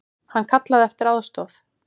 Hann kallaði eftir aðstoð.